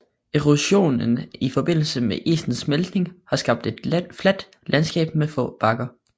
Erosionen i forbindelse med isens smeltning har skabt et fladt landskab med få bakker